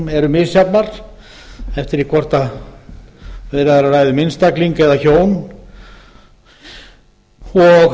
eru misjafnar eftir því hvort við erum að ræða um einstaklinga eða hjón og